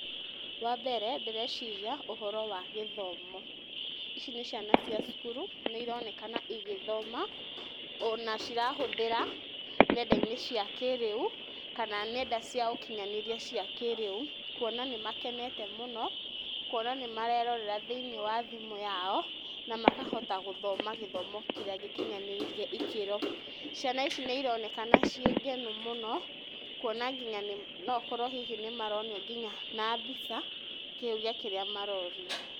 Wambere ndĩreciria ũhoro wa gĩthomo, ici nĩ ciana cia cukuru, nĩ ironeka igĩthoma onacirahũthĩra nenda-inĩ cia kĩrĩu kana nenda cia ũkinyanĩria cia kĩrĩu kũona nĩ makenete mũno kũona nĩmarerorera thĩinĩ wa thimũ-inĩ yao na makahota gũthoma gĩthomo kĩrĩa gĩkinyanĩirie ikĩro. Ciana ici nĩ ironekana ciĩngenu mũno kũona nginya noũkorwo hihi nĩmaronio nginya na mbica kĩũria kĩrĩa marorio.